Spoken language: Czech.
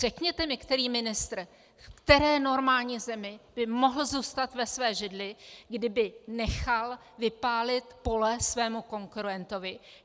Řekněte mi, který ministr v které normální zemi by mohl zůstat ve své židli, kdyby nechal vypálit pole svému konkurentovi.